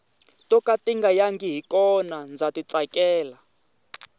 to ka tinga yangi i kona ndza ti tsakela